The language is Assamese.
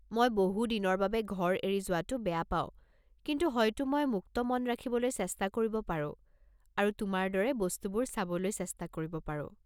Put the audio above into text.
মই বহু দিনৰ বাবে ঘৰ এৰি যোৱাটো বেয়া পাওঁ কিন্তু হয়তো মই মুক্ত মন ৰাখিবলৈ চেষ্টা কৰিব পাৰো আৰু তোমাৰ দৰে বস্তুবোৰ চাবলৈ চেষ্টা কৰিব পাৰো।